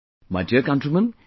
My dear countrymen,